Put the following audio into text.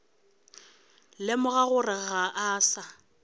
lemoga gore ga a sa